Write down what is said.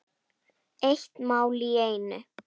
Eitt mál í einu.